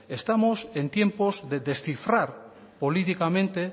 estamos en tiempos de descifrar políticamente